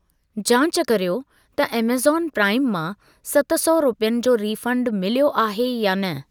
जांच कर्यो त ऐमेज़ॉन प्राइम मां सत सौ रुपियनि जो रीफंड मिलियो आहे या न?